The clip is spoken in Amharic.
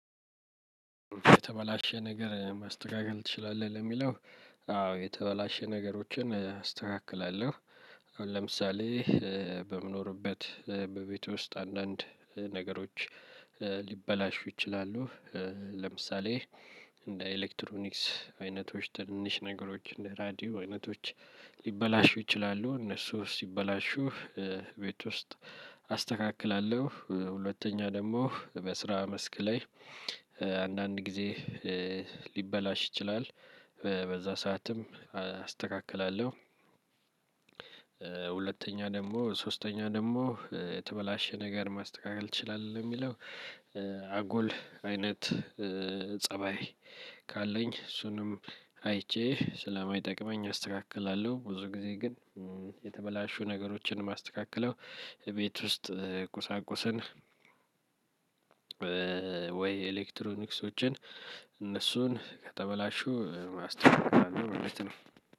የተበላሸ ነገር ማስተካከል ትችላለህ ለሚለው? አዎ የተበላሸ ነገሮችን አስተካክላለሁ። አሁን ለምሳሌ በምኖርበት በቤቴ ውስጥ አንዳንድ ነገሮች ሊበላሹ ይችላሉ። ለምሳሌ እንደ ኤሌክትሮኒክስ አይነቶች ትንንሽ ነገሮች እንደ ራዲዮ አይነቶች። ሊበላሹ ይችላሉ እነሱ ሲበላሹ ቤት ውስጥ አስተካክላለሁ። ሁለተኛ ደግሞ በስራ መስክ ላይ አንዳንድ ጊዜ ሊበላሽ ይችላል በዛ ሰዓትም አስተካክላለሁ። ሁለተኛ ደግሞ ሶስተኛ ደግሞ የተበላሸ ነገር ማስተካከል ትችላለህ ለሚለው? አጉል አይነት ፀባይ ካለኝ እሱንም አይቼ ስለማይጠቅመኝ አስተካክላለሁ። ብዙ ጊዜ ግን የተበላሹ ነገሮችን የማስተካክለው ቤት ውስጥ ቁሳቁስን ወይ ኤሌክትሮኒክሶችን እነሱን ከተበላሹ አስተካክላለሁ ማለት ነው።